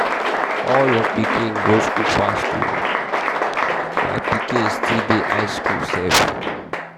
all your children go school fast oo. my pikin still dey high school sef.